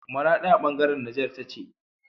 Maradi a bangaran Niger tace